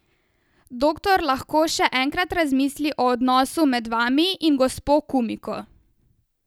Doktor lahko še enkrat razmisli o odnosu med vami in gospo Kumiko.